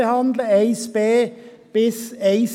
Die Anträge 1b bis 1